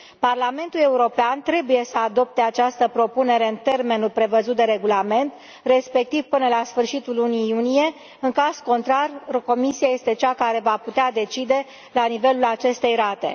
Parlamentul European trebuie să adopte această propunere în termenul prevăzut de Regulament, respectiv până la sfârșitul lunii iunie, în caz contrar Comisia este cea care va putea decide nivelul acestei rate.